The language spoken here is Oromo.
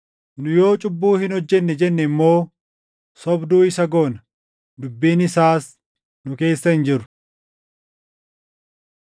Nu yoo cubbuu hin hojjennee jenne immoo sobduu isa goona; dubbiin isaas nu keessa hin jiru.